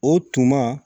O tuma